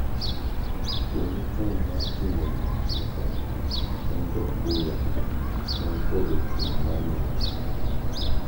Yo machon mar timo gikmoko en jo Kuria man podho chieng' mar Nyanza.